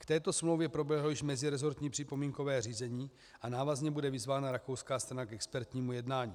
K této smlouvě proběhlo již mezirezortní připomínkové řízení a návazně bude vyzvána rakouská strana k expertnímu jednání.